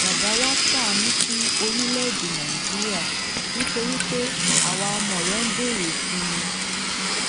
bàbá wáá ṣàánú fún orílẹèdè nàíjíríà nítorí pé àwa ọmọ rẹ ń béèrè fún un